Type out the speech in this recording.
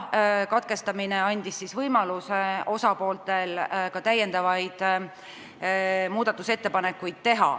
Katkestamine andis osapooltele võimaluse teha ka muudatusettepanekuid.